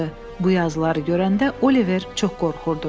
Bu yazıları görəndə Oliver çox qorxurdu.